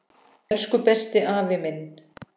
Elsku besti afi minn.